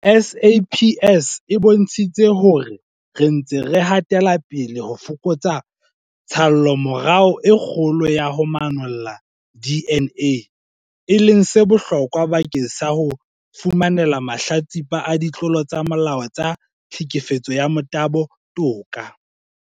SAPS e bontshitse hore re ntse re hatela pele ho fokotsa tshallomora e kgolo ya ho manolla DNA, e leng se bohlokwa bakeng sa ho fumanela mahlatsipa a ditlolo tsa molao tsa tlhekefetso ya motabo toka.